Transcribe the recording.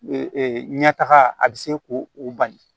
ɲɛtaga a bɛ se k'o o bali